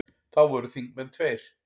Þá voru þingmenn tveir.